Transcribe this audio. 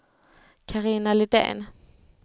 Carina Lidén